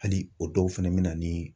Hali o dɔw fɛnɛ bɛ na ni.